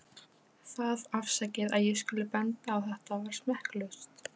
Það- afsakið að ég skuli benda á þetta- var smekklaust.